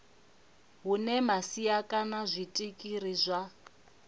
hune masia kana zwitiriki zwa